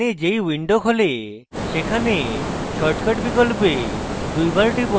এখানে যেই window খোলে সেখানে shortcut বিকল্পে দুইবার টিপুন